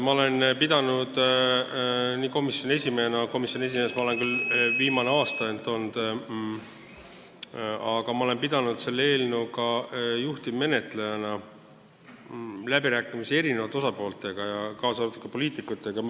Ma olen pidanud nii komisjoni esimehena – komisjoni esimees ma olen küll ainult viimane aasta olnud – kui ka juhtivmenetlejana pidanud selle eelnõu üle läbirääkimisi erinevate osapooltega, kaasa arvatud poliitikutega.